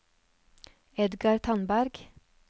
Edgar Tandberg